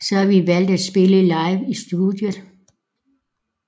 Så vi valgte at spille live i studiet